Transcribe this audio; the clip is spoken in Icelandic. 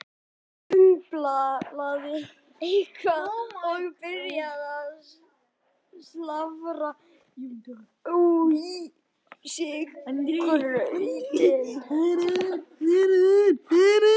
Kobbi umlaði eitthvað og byrjaði að slafra í sig grautinn.